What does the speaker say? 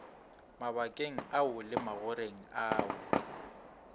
mabakeng ao le magoreng ao